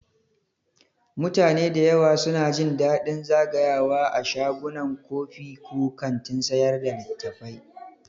Mutane da yawa suna jin daɗin zagayawa a shagunan kofi ko kantin sayar da littattafai.